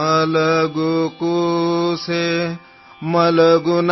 ಮಲಗು ಮಲಗು ಮಗುವೇ ಮಲಗು